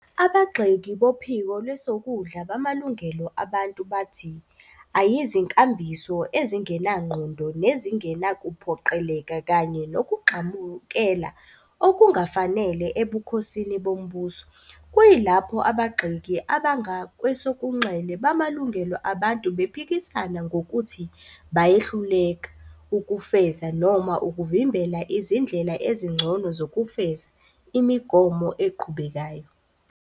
Abagxeki bophiko lwesokudla bamalungelo abantu bathi "ayizinkambiso ezingenangqondo nezingenakuphoqeleka kanye nokugxambukela okungafanele ebukhosini bombuso", kuyilapho abagxeki abangakwesokunxele bamalungelo abantu bephikisana ngokuthi bayehluleka "ukufeza - noma ukuvimbela izindlela ezingcono zokufeza - imigomo eqhubekayo".